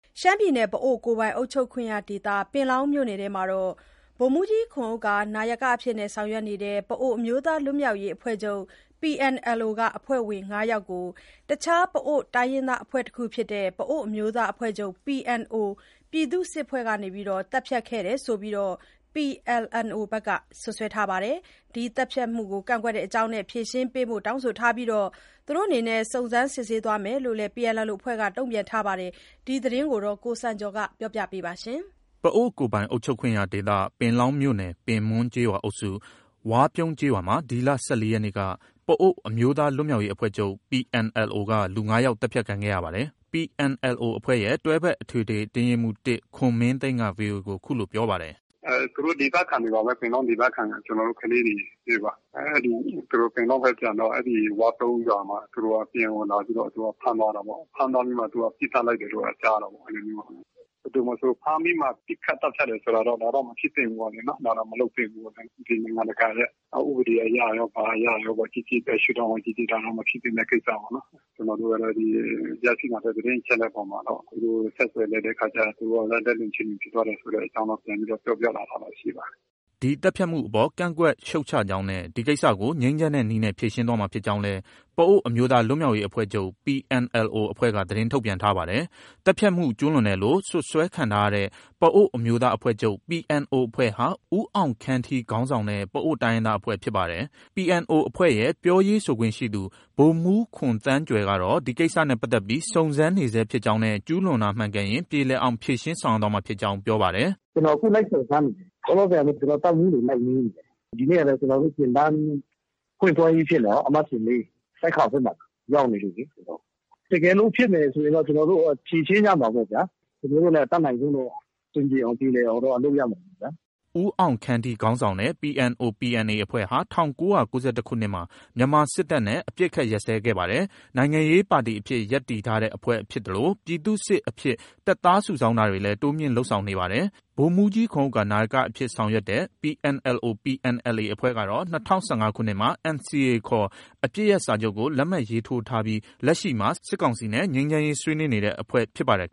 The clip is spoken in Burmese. ရှမ်းပြည်နယ် ပအိုဝ်းကိုယ်ပိုင်အုပ်ချုပ်ခွင့်ရဒေသ ပင်လောင်းမြို့နယ်အတွင်းမှာ ဗိုလ်မှူးကြီးခွန်ဥက္ကာ နာယကအဖြစ် ဆောင်ရွက်နေတဲ့ ပအိုဝ်း အမျိုးသား လွတ်မြောက်ရေးအဖွဲ့ချုပ် PNLO က အဖွဲ့ဝင် ၅ ယောက်ကို တခြား ပအိုဝ်းတိုင်းရင်းသား အဖွဲ့တခုဖြစ်တဲ့ ပအိုဝ်းအမျိုးသားအဖွဲ့ချုပ် PNO ပြည်သူ့စစ်အဖွဲ့က သတ်ဖြတ်ခဲ့တယ်ဆိုပြီး PLNO က စွပ်စွဲထားပါတယ်။ ဒီသတ်ဖြတ်မှုကို ကန့်ကွက်တဲ့အကြောင်းနဲ့ ဖြေရှင်းပေးဖို့ တောင်းဆိုထားပြီး စုံစမ်းစစ်ဆေးသွားမယ်လို့လည်း PNLO အဖွဲ့က တုံ့ပြန်ထားပါတယ်။ ဒီသတင်းကို ကိုစံကျော်က တင်ပြထားပါတယ်။ ပအိုဝ်းကိုယ်ပိုင်အုပ်ချုပ်ခွင့်ရဒေသ ပင်လောင်းမြို့နယ် ပင်မွန်းကျေးရွာအုပ်စု၊ ဝါးပြုံးကျေးရွာမှာ ဒီလ ၁၄ ရက်နေ့က ပအိုဝ်း အမျိုးသား လွတ်မြောက်ရေးအဖွဲ့ချုပ် PNLO က လူ ၅ ယောက် သတ်ဖြတ်ခံခဲ့ရတာပါ။ PNLO အဖွဲ့ရဲ့ တွဲဖက်အထွေထွေအတွင်းရေးမှူး ၁ ခွန်မင်းသိန်းက VOA ကို အခုလို ပြောပါတယ်။ “သူတို့ ပင်လောင်းဒေသခံတွေပါပဲ။ ပင်လောင်းဒေသခံ ကျနော်တို့ ကလေးတွေပါ။ သူတို့ ပင်လောင်းဘက် ပြန်တော့ အဲဒီဝါးပြုန်းရွာမှာ အဲဒီ PNO လာပြီးတော့ ဖမ်းသွားတာပေါ့။ ဖမ်းပြီးတော့မှ ပစ်သတ်လိုက်တယ်လို့ပဲ ကြားရတာပေါ့။ ဘယ်သူမဆို ဖမ်းပြီးမှ ပစ်ခတ်သတ်ဖြတ်တယ်ဆိုတာတော့ မဖြစ်သင့်ဘူးလေ နော်။ ဒါတော့ မလုပ်သင့်ဘူး။ နိုင်ငံတကာရဲ့ ဥပဒေအရရော၊ ဘာအရရော ဘယ်ရှု့ဒေါင့်က ကြည့်ကြည့် ဒါတော့ မဖြစ်သင့်တဲ့ ကိစ္စပေါ့နော်။ ကျနော်တို့ကတော့ ရရှိလာတဲ့ သတင်းအချက်အလက်အပေါ်မှာတော့ သူတို့ကို ဆက်သွယ် လိုက်တဲ့အခါ သူတို့က လက်လွန် ခြေလွန်ဖြစ်သွားတယ်ဆိုတဲ့အကြောင်း ပြန်ပြီးတော့ ပြောပြလာတာ ရှိပါတယ်။” ဒီသတ်ဖြတ်မှုအပေါ် ကန့်ကွက်ရှုတ်ချကြောင်းနဲ့ ဒီကိစ္စကို ငြိမ်းချမ်းတဲ့နည်းနဲ့ ဖြေရှင်းသွားမှာဖြစ်ကြောင်းလည်း ပအိုဝ်း အမျိုးသား လွတ်မြောက်ရေးအဖွဲ့ချုပ် PNLO အဖွဲ့က သတင်းထုတ်ပြန်ထားပါတယ်။ သတ်ဖြတ်မှု ကျုးလွန်တယ်လို့ စွပ်စွဲခံထားရတဲ့ ပအိုဝ်းအမျိုးသားအဖွဲ့ချုပ် PNO အဖွဲ့ဟာ ဦးအောင်ခမ်းထီခေါင်းဆောင်တဲ့ ပအိုဝ်း တိုင်းရင်းသားအဖွဲ့ ဖြစ်ပါတယ်။ PNO အဖွဲ့ရဲ့ ပြောရေးဆိုခွင့်ရှိသူ ဗိုလ်မှူးခွန်သန်းကြွယ်ကတော့ ဒီကိစ္စနဲ့ပတ်သက်ပြီး စုံစမ်းနေဆဲဖြစ်ကြောင်းနဲ့ ကျူးလွန်တာမှန်ကန်ရင် ပြေလည်အောင်ဖြေရှင်းသွားမှာဖြစ်ကြောင်း ပြောပါတယ်။ “ကျနော် လိုက်စုံစမ်းနေတယ်။ လောလောဆယ် ကျနော် တပ်မှူးတွေ လိုက်မေးနေတယ်။ ဒီနေ့ကလည်း ကျနော်တို့ သင်တန်းဖွင့်ပွဲကြီးဖြစ်နေတာကို၊ သင်တန်းအမှတ်စဉ် ၄။ ဆိုက်ခေါင်ဘက်မှာ ရောက်နေလို့လေ ကျနော်။ တကယ်လို့ ဖြစ်မယ်ဆိုရင်တော့ ကျနော်တို့ ဖြေရှင်းကြမှာပေါ့ဗျာ။ ကျနော်တို့လည်း အတတ်နိုင်ဆုံးတော့ အဆင်ပြေအောင်။ ပြေလည်အောင်တော့ လုပ်ရမှာပေါ့ဗျာ။ ” ဦးအောင်ခမ်းထီခေါင်းဆောင်တဲ့ PNO/PNA အဖွဲ့ဟာ ၁၉၉၁ ခုနှစ်မှာ မြန်မာစစ်တပ်နဲ့ အပစ်အခတ်ရပ်စဲခဲ့ပါတယ်။ နိုင်ငံရေးပါတီအဖြစ် ရပ်တည်ထားတဲ့အဖွဲ့ဖြစ်သလို ပြည်သူ့စစ်အဖြစ် တပ်သားစုဆောင်းတာတွေလည်း တိုးမြှင့်လုပ်ဆောင်နေပါတယ်။ ဗိုလ်မှူးကြီးခွန်ဥက္ကာ နာယကအဖြစ် ဆောင်ရွက်တဲ့ PNLO/PNLA အဖွဲ့ကတော့ ၂၀၁၅ ခုနှစ်မှာ NCA ခေါ် အပစ်ရပ်စာချုပ်ကို လက်မှတ်ရေးထိုးထားပြီး လက်ရှိမှာ စစ်ကောင်စီနဲ့ ငြိမ်းချမ်းရေးဆွေးနွေးနေတဲ့ အဖွဲ့ဖြစ်ပါတယ်